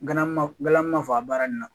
Nga ma fɔ a baara nin na